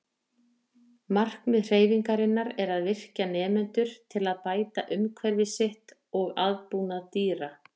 Markmið hreyfingarinnar er að virkja nemendur til að bæta umhverfi sitt og aðbúnað dýra.